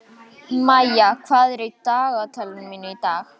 Mæja, hvað er í dagatalinu mínu í dag?